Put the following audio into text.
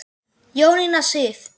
Jónína Sif.